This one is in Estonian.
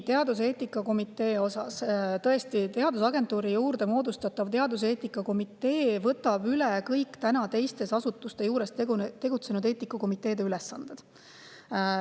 Teaduseetika komitee kohta: tõesti, teadusagentuuri juurde moodustatav teaduseetika komitee võtab üle kõik täna teiste asutuste juures tegutsevate eetikakomiteede ülesanded.